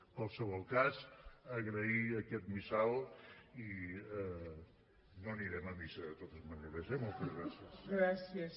en qualsevol cas agrair aquest missal i no anirem a missa de totes maneres eh moltes gràcies